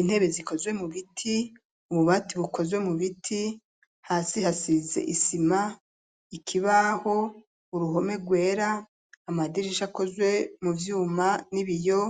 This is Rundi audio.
Intebe zikozwe mu biti, ububati bukozwe mu biti hasi hasize isima, ikibaho, uruhome rwera, amadirisha akozwe mu vyuma n'ibiyo